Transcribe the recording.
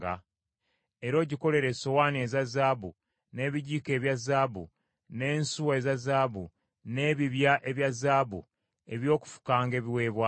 Era ogikolere essowaani eza zaabu, n’ebijiiko ebya zaabu, n’ensuwa eza zaabu, n’ebibya ebya zaabu eby’okufukanga ebiweebwayo.